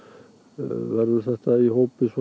verður þetta í hópi svona